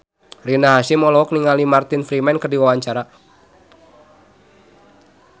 Rina Hasyim olohok ningali Martin Freeman keur diwawancara